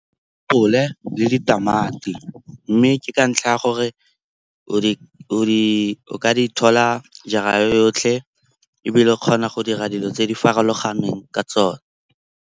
Kgole le ditamati mme ke ka ntlha ya gore o ka di thola jara yotlhe ebile o kgona go dira dilo tse di farologaneng ka tsone.